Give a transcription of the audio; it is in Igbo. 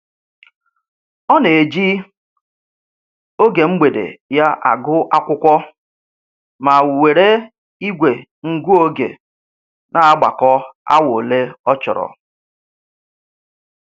Ọ na-eji oge mgbede ya agụ akwụkwọ, ma were igwe ngụ oge na-agbakọ awa ole ọ chọrọ